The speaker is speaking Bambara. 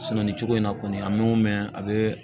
nin cogo in na kɔni an mɛ mɛn a be